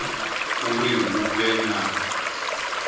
uri hu vhe na mushumo